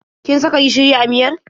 Kin saka gishiri a miyar?